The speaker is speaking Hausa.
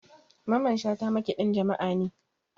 Mamman shata makaɗin jama'a ne